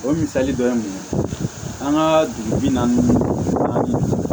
O misali dɔ ye mun ye an ka dugu bi naani ninnu